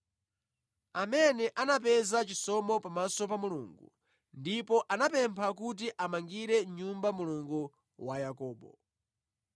amene anapeza chisomo pamaso pa Mulungu ndipo anapempha kuti amʼmangire nyumba Mulungu wa Yakobo.